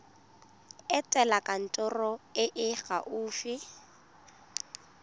etela kantoro e e gaufi